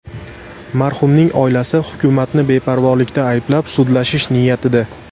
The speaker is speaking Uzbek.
Marhumning oilasi hukumatni beparvolikda ayblab sudlashish niyatida.